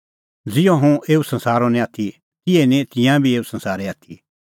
ज़िहअ हुंह एऊ संसारो नांईं आथी तिहै ई निं तिंयां बी एऊ संसारे आथी